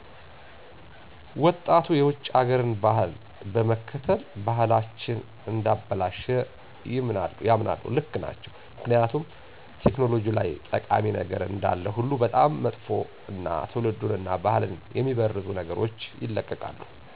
ወጣቱ የውጭ ሀገርን ባህል በመከተል ባህልቸን እንዳበላሸ ይምናሉ ልክ ናቸው ምክኒያቱም ቴክኖሎጂ ላይ ጠቃሚ ነገር እንዳለ ሁሉ በጣም መጥፍ እና ትውልዱን እና ባህልን የሚመርዙ ነገሮች ይለቀቃሉ